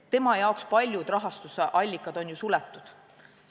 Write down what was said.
Tema jaoks on paljud rahastusallikad ju suletud.